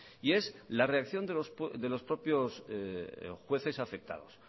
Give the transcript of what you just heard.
y es la reacción de los propios jueces afectados